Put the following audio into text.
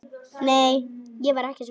Nei, ég var ekki svöng.